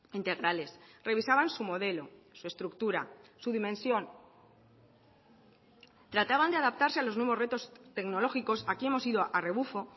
integrales revisaban su modelo su estructura su dimensión trataban de adaptarse a los nuevos retos tecnológicos aquí hemos ido a rebufo